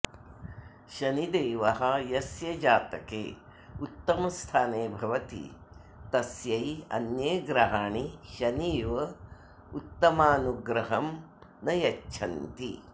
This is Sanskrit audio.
शनिदेवः यस्य जातके उत्तमस्थाने भवति तस्यै अन्ये ग्रहाणि शनि इव उत्तमानुग्रहं न यच्छन्ति